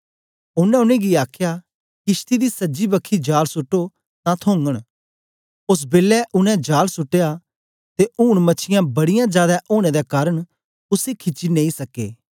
ओनें उनेंगी आखया किशती दी सज्जी बखी जाल सुट्टो तां थोगन ओस बेलै उनै जाल सुट्ट्या ते ऊन मछीयां बड़ीयां जादै ओनें दे कारन उसी खिची नेई सके